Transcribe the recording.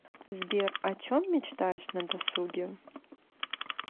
сбер о чем мечтаешь на досуге